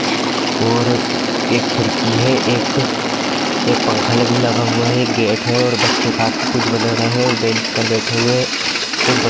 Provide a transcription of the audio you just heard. और एक खिड़की है एक पंखा भी लगा हुआ है एक गेट है और बच्चे हाथ से कुछ बना रहे है और बेंच पर बैठे हुए है कुछ बच्चे--